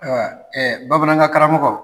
bamanankan karamɔgɔ